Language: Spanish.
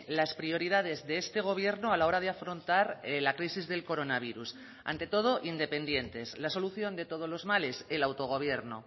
las prioridades de este gobierno a la hora de afrontar la crisis del coronavirus ante todo independientes la solución de todos los males el autogobierno